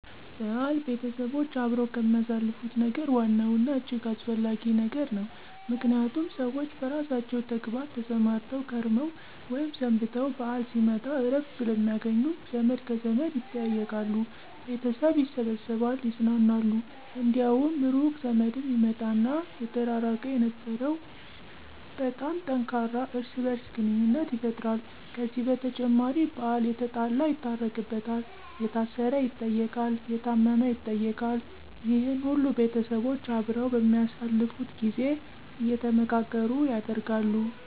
በዓል ቤተሰቦች አብረው ከሚያሳልፉት ነገር ዋናው እና እጅግ አስፈለጊ ነገር ነው። ምክንያቱም ሰዎች በየራሳቸው ተግባር ተሰማርተው ከርመው ወይም ሰንብተው በዓል ሲመጣ እረፍት ስለሚያገኙ ዘመድ ከዘመድ ይጠያየቃሉ፤ ቤተዘመድ ይሰበሰባል ይዝናናሉ፤ እንዲያውም ሩቅ ዘመድም ይመጣና የተራራቀ የነበረው በጣም ጠንካራ እርስ በርስ ግንኙነት ይፈጠራል። ከዚህ በተጨማሪ በዓል የተጣላ ይታረቅበታል፤ የታሰረ ይጠየቃል፤ የታመም ይጠየቃል። ይህነ ሁሉ ቤተሰቦች አብረው በሚያሳልፉት ጊዜ አየተመካከሩ ያደርጋሉ።